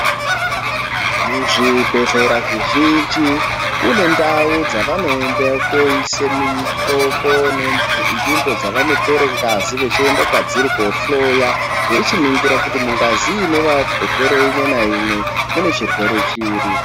Muzvibhedhlera zvizhinji kune ntau dzavanoenda kunoise mitombo nenzvimbo dzavanotore ngazi vachienda kwadziri kunohloya veichiningira kuti mungazi ine varwere umwe naumwe mune chirwere chiri.